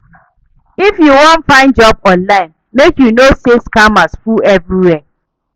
If you wan find job online, make you know sey scammers full everywhere.